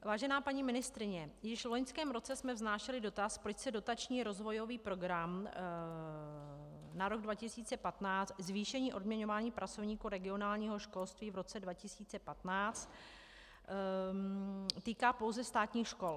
Vážená paní ministryně, již v loňském roce jsme vznášeli dotaz, proč se dotační rozvojový program na rok 2015 Zvýšení odměňování pracovníků regionálního školství v roce 2015 týká pouze státních škol.